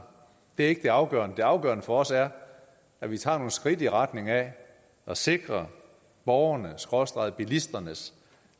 det er ikke det afgørende det afgørende for os er at vi tager nogle skridt i retning af at sikre borgernes skråstreg bilisternes